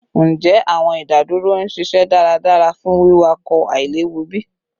Njẹ awọn idaduro n ṣiṣẹ daradara fun wiwakọ ailewu bi?